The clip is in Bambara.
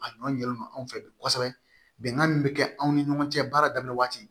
A ɲɔn yɛlɛma anw fɛ bi kosɛbɛ bɛnkan min bi kɛ anw ni ɲɔgɔn cɛ baara daminɛ waati